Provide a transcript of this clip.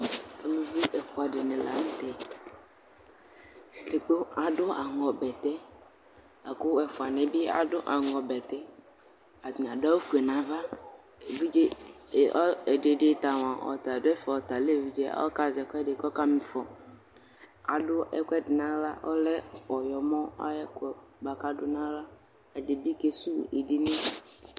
Ʋlvvi ɛfʋa dini lanʋtɛ kʋ adʋ aŋɔbɛtɛ, lakʋ ɛfʋani yɛbi adʋ aŋɔ bɛtɛ, atani adʋ awʋ fue nʋ ava, ɛdi ta mʋa ɔta lɛ evidze, ɔkazɛ ɛkʋɛdi kʋ ɔkama ifɔ, adʋ ɛkʋɛdi nʋ aɣla ɔlɛ ɔyɔmɔ ayʋ ɛkʋ, bʋakʋ adʋ nʋ aɣla Edigbo kesʋwʋ edini